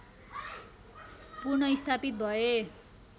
पुन स्थापित भए